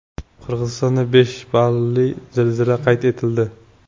Qirg‘izistonda besh balli zilzila qayd etildi.